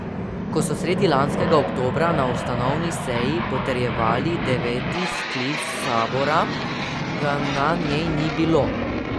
Ko so sredi lanskega oktobra na ustanovni seji potrjevali deveti sklic sabora, ga na njej ni bilo.